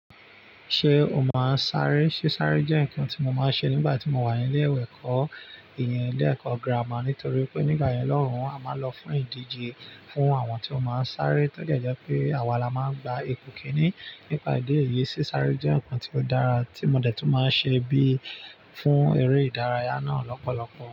Ṣé o máa ń sáré? Sé sáré jẹ́ ǹkan tí mo máa ń ṣe nígbà tí mo wà ní ilé ẹ̀kọ́ ìyìn ilé ẹ̀kọ́ gírámà nítorí pé nígbà yẹn lọ́rùn a máa ń lọ fún ìdíje fún àwọn tí ó máa ń sáré tó jẹ́ pé àwa la máa ń gba ipò kíní. Nípa ìdí èyí, sé sáré jẹ́ ǹkan tí ó dára tí mo dẹ̀ tún máa ń ṣe bí fún eré ìdárayá náà lọ́pọ̀lọpọ̀.